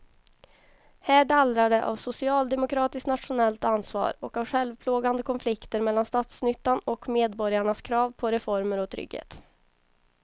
Här dallrar det av socialdemokratiskt nationellt ansvar och av självplågande konflikter mellan statsnyttan och medborgarnas krav på reformer och trygghet.